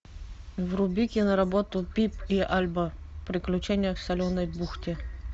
вруби киноработу пип и альба приключения в соленой бухте